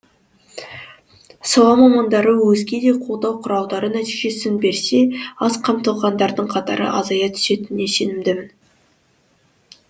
сала мамандары өзге де қолдау құралдары нәтижесін берсе аз қамтылғандардың қатары азая түсетініне сенімді